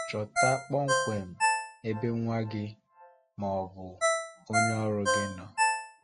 Chọta kpọmkwem ebe nwa gị ma ọ bụ onye ọrụ gị nọ.